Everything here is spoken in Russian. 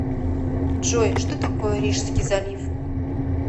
джой что такое рижский залив